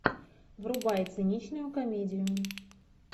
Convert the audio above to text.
врубай циничную комедию